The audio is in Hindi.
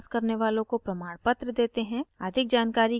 online test pass करने वालों को प्रमाणपत्र देते हैं